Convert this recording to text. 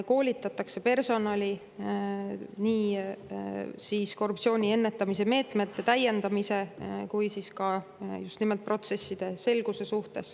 Koolitatakse personali nii korruptsiooni ennetamise meetmete täiendamise kui ka just nimelt protsesside selguse suhtes.